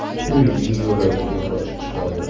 uyning yo‘lagiga qochib chiqadi.